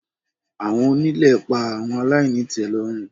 Awọn onile pa awọn alainitelorun